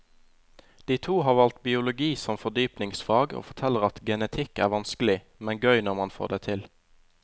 De to har valgt biologi som fordypningsfag og forteller at genetikk er vanskelig, men gøy når man får det til.